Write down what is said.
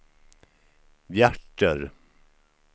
hjärter